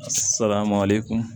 Salama ale kun